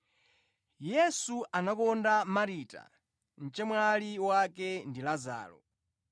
Yesu anakonda Marita, mchemwali wake ndi Lazaro.